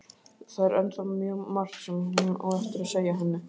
Það er ennþá mjög margt sem hún á eftir að segja henni.